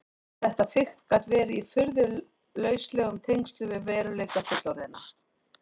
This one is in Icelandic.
Þetta fikt gat verið í furðu lauslegum tengslum við veruleika fullorðinna.